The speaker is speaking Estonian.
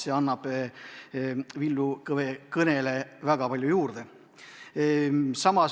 See annab Villu Kõve ettekandele väga palju juurde.